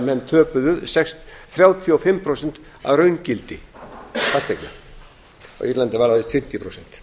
menn töpuðu þrjátíu og sex prósentum að raungildi fasteigna á írlandi var það víst fimmtíu prósent